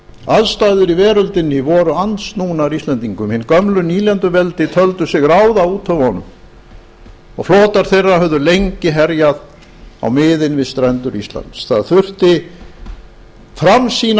aðstæður í veröldinni voru andsnúnar íslendingum hin gömlu nýlenduveldi töldu sig ráða úthöfunum og flotar þeirra höfðu lengi herjað á miðin við strendur íslands það þurfti framsýna